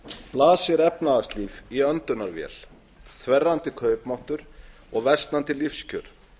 blasir efnahagslíf í öndunarvél þverrandi kaupmáttur og versnandi lífskjör